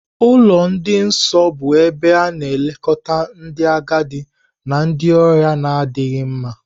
Ụlọ ndị nọọsụ bụ ebe a na-elekọta ndị agadi na ndị ọrịa na-adịghị mma.